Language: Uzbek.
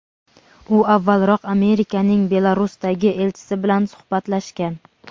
u avvalroq Amerikaning Belarusdagi elchisi bilan suhbatlashgan.